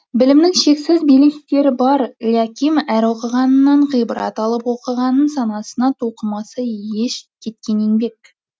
білімнің шексіз белестері бар ляким әр оқығанынан ғибрат алып оқығанын санасына тоқымаса еш кеткен еңбек